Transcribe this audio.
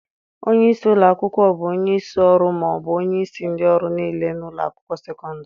Onye isi ụlọ akwụkwọ bụ onye isi ọrụ ma ọ bụ onye isi ndị ọrụ niile na ụlọ akwụkwọ sekọndrị